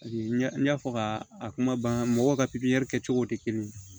ɲɛ n y'a fɔ ka a kuma ban mɔgɔw ka pipiniyɛri kɛ cogo tɛ kelen ye